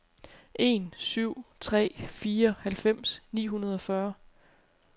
en syv tre fire halvfems ni hundrede og fyrre